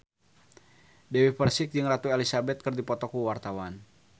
Dewi Persik jeung Ratu Elizabeth keur dipoto ku wartawan